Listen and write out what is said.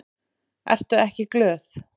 Ertu ekki glöð?